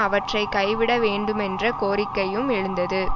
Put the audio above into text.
அவற்றை கைவிட வேண்டுமென்ற கோரிக்கையும் எழுந்தது